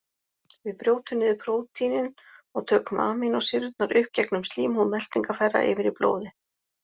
Við brjótum niður prótínin og tökum amínósýrurnar upp gegnum slímhúð meltingarfæra yfir í blóðið.